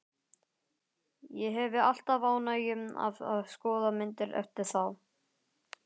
Ég hefi alltaf ánægju af að skoða myndir eftir þá.